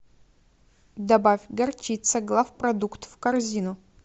добавь горчица главпродукт в корзину